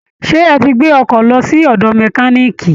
Ṣé ẹ ti gbé ọkọ lọ sí ọ̀dọ̀ mẹkaníìkì